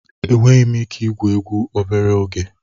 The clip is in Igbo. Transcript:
Enweghị m ike igwu egwu obere oge.